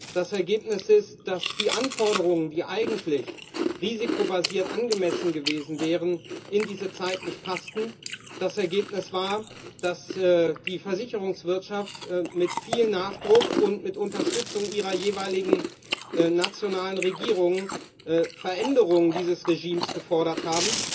Das Ergebnis ist, dass die Anforderungen, die eigentlich risikobasiert angemessen gewesen wären, in diese Zeit nicht passten, so dass die Versicherungswirtschaft mit viel Nachdruck und mit Unterstützung ihrer jeweiligen nationalen Regierungen Veränderungen dieses Regimes gefordert hat.